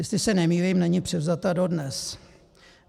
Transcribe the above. Jestli se nemýlím, není převzata dodnes.